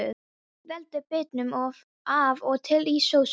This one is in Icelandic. Veltið bitunum af og til í sósunni.